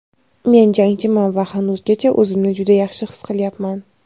Men jangchiman va hanuzgacha o‘zimni juda yaxshi his qilyapman.